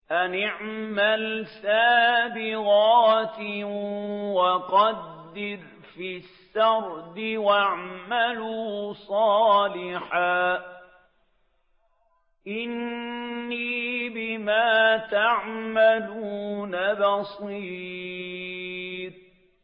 أَنِ اعْمَلْ سَابِغَاتٍ وَقَدِّرْ فِي السَّرْدِ ۖ وَاعْمَلُوا صَالِحًا ۖ إِنِّي بِمَا تَعْمَلُونَ بَصِيرٌ